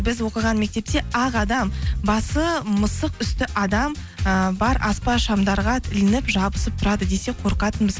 біз оқыған мектепте ақ адам басы мысық үсті адам ыыы бар аспа шамдарға ілініп жабысып тұрады десе қорқатынбыз